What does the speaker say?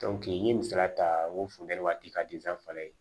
n ye misaliya ta n ko funtɛni waati ka fana ye